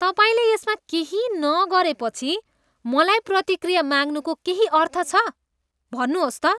तपाईँले यसमा केही नगरेपछि मलाई प्रतिक्रिया माग्नुको केही अर्थ छ? भन्नुहोस् त?